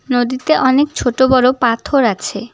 নদীতে অনেক ছোট বড় পাথর আছে।